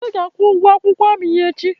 Ude ga-akwụ ụgụ akwụkwọ amị ya echi